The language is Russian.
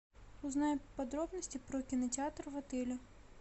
узнай подробности про кинотеатр в отеле